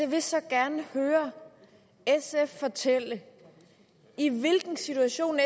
vil så gerne høre sf fortælle i hvilken situation